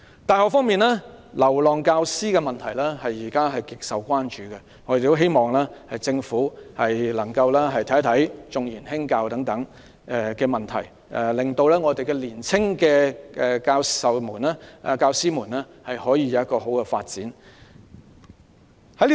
大學方面，"流浪教師"的問題現時極受關注，我們希望政府能夠審視"重研輕教"等問題，令年青教師有良好的發展。